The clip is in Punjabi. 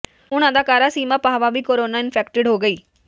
ਹੁਣ ਅਦਾਕਾਰਾ ਸੀਮਾ ਪਾਹਵਾ ਵੀ ਕੋਰੋਨਾ ਇਨਫੈਕਟਡ ਹੋ ਗਈ